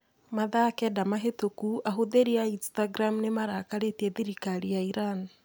Mathaa kenda mahĩtũku ahũthĩri a Instagram nĩ marakarĩtie thirikari ya Iran.